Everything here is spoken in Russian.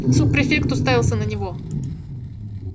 суб-префект уставился на него